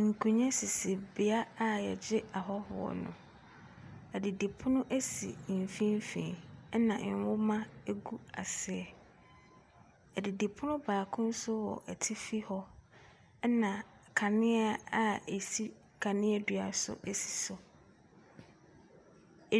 Nkonnwa sisi beaeɛ a wɔgye ahɔhoɔ no. Adidipono si mfimfini, ɛnna nwoma gu aseɛ. Adidipono baako nso wɔ atifi hɔ, ɛnna kanea a ɛsi kanea dua so si so.